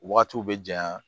Wagati bɛ janɲa